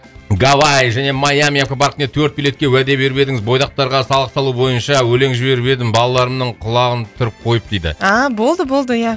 гавай және майами аквопаркіне төрт билетке уәде беріп едіңіз бойдақтарға салық салу бойынша өлең жіберіп едім балаларымның құлағын түріп койып дейді болды болды ия